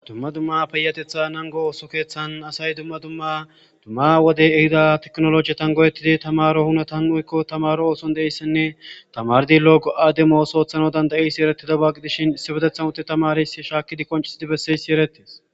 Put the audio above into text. dumma dumma peyatetha nango ooso keeththan asay dumma dumma dumma wode ehida teknoloji tan goyettidi tamaro hunatan uykko tamaro ooson deeyssinne tamardi logo7ade mooso ooththano dandayisi erettida baagi dishin issi bedethan utte tamaris shaakidi konciidi besseysi erettes